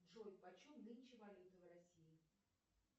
джой по чем нынче валюта в россии